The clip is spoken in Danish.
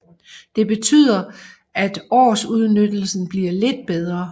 Det betyder at årsudnyttelsen bliver lidt bedre